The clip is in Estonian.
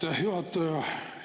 Aitäh, juhataja!